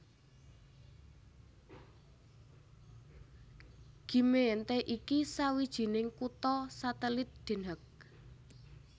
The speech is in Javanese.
Gemeente iki sawijining kutha satelit Den Haag